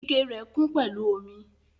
Ikẹ rẹ kun pẹlu omi.